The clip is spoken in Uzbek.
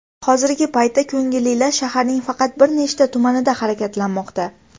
Hozirgi paytda ko‘ngillilar shaharning faqat bir nechta tumanida harakatlanmoqda.